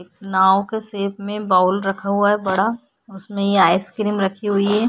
एक नाव के शेप में बाउल रखा हुआ है बड़ा उसमें ये आइसक्रीम रखी हुई है।